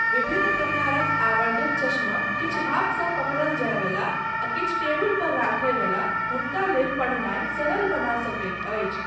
विभिन्न प्रकारक आवर्धक चश्मा, किछु हाथसँ पकड़ल जाय वला आ किछु टेबुल पर रखय बला, हुनका लेल पढ़नाय सरल बना सकैत अछि।